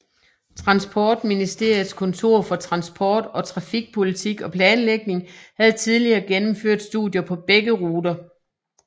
Transportministeriets Kontor for Transport og Trafikpolitik og Planlægning havde tidligere gennemført studier på begge ruter